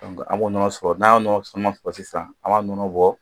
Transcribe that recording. An b'o nɔnɔ sɔrɔ n'an y'o nɔnɔ caman sɔrɔ sisan an b'a nɔnɔ bɔ